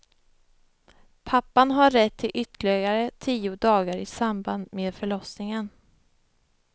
Pappan har rätt till ytterligare tio dagar i samband med förlossningen.